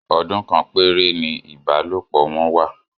Ọdún kan péré ni ìbálòpọ̀ wọn wà